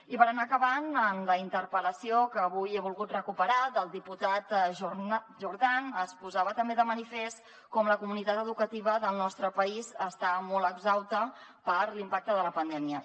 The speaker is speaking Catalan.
i per anar acabant en la interpel·lació que avui he volgut recuperar del diputat jordan es posava també de manifest com la comunitat educativa del nostre país està molt exhausta per l’impacte de la pandèmia